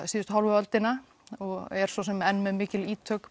síðustu hálfu öldina og er svo sem enn með mikil ítök